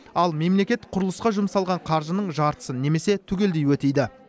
ал мемлекет құрылысқа жұмсалған қаржының жартысын немесе түгелдей өтейді